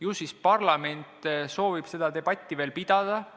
Ju siis parlament soovib veel debatti pidada.